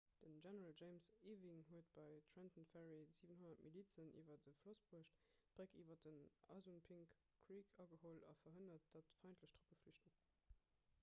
den general james ewing huet bei trenton ferry 700 milizen iwwer de floss bruecht d'bréck iwwer den assunpink creek ageholl a verhënnert datt feindlech truppen flüchten